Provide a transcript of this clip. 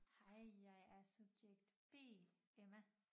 Hej jeg er subjekt B Emma